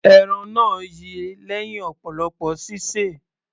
Ẹran náà yi lẹ́hìn ọ̀pọ̀lọpọ̀ sísè.